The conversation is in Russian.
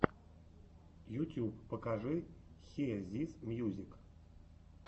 ютюб покажи хиэ зис мьюзик